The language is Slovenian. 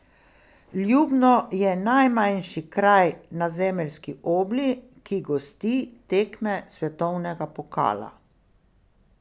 Ljubno je najmanjši kraj na zemeljski obli, ki gosti tekme svetovnega pokala.